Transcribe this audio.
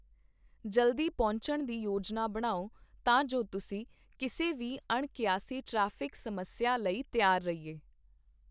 ਜਲਦੀ ਪਹੁੰਚਣ ਦੀ ਯੋਜਨਾ ਬਣਾਓ, ਤਾਂ ਜੋ ਤੁਸੀਂ ਕਿਸੇ ਵੀ ਅਣਕਿਆਸੀ ਟ੍ਰੈਫਿਕ ਸਮੱਸਿਆ ਲਈ ਤਿਆਰ ਰਹੀਏ।